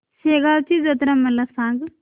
शेगांवची जत्रा मला सांग